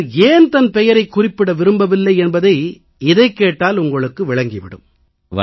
அவர் ஏன் தன் பெயரைக் குறிப்பிட விரும்பவில்லை என்பதை இதைக் கேட்டால் உங்களுக்கே விளங்கி விடும்